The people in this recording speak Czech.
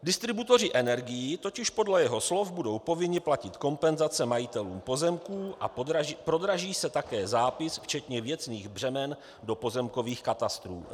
Distributoři energií totiž podle jeho slov budou povinni platit kompenzace majitelům pozemků a prodraží se také zápis včetně věcných břemen do pozemkových katastrů.